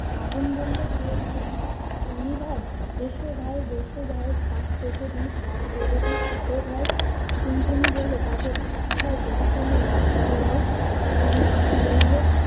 আগুন বললে- কে ভাই? টুনটুনি ভাই এসো ভাই, বস ভাই, খাট পেতে দি, ভাত বেড়ে দি, খাবে ভাই? টুনটুনি বললে- তবে ভাত খাই যদি তুমি লাঠি পোড়াও। আগুন বললে-